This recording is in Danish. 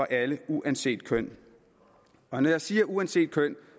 alle uanset køn når jeg siger uanset køn